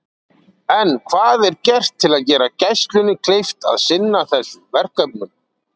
En hvað er gert til að gera Gæslunni kleift að sinna þessum verkefnum?